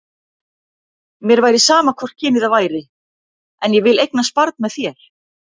Mér væri sama hvort kynið það væri, en ég vil eignast barn með þér.